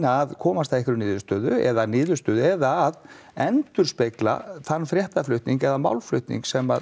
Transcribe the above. að koma að einhverri niðurstöðu eða niðurstöðu eða að endurspegla þann fréttaflutning eða málflutning sem